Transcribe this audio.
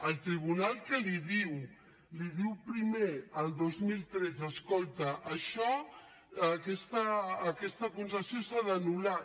el tribunal què li diu li diu primer el dos mil tretze escolta això aquesta concessió s’ha d’anular